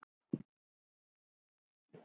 Það var nú það.